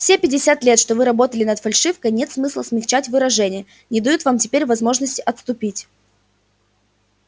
все пятьдесят лет что вы работали над фальшивкой нет смысла смягчать выражения не дают вам теперь возможности отступить